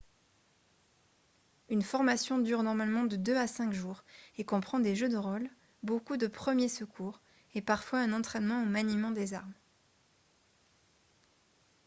une formation dure normalement de 2 à 5 jours et comprend des jeux de rôle beaucoup de premiers secours et parfois un entraînement au maniement des armes